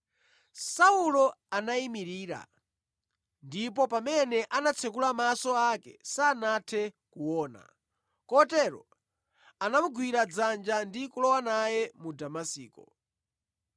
Saulo anayimirira, ndipo pamene anatsekula maso ake sanathe kuona. Kotero anamugwira dzanja ndi kulowa naye mu Damasiko.